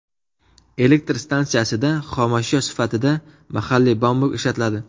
Elektr stansiyasida xomashyo sifatida mahalliy bambuk ishlatiladi.